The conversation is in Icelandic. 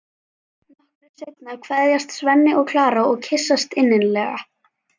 Nokkru seinna kveðjast Svenni og Klara og kyssast innilega.